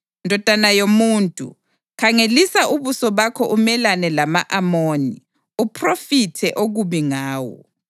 “Ndodana yomuntu, khangelisa ubuso bakho umelane lama-Amoni, uphrofithe okubi ngawo.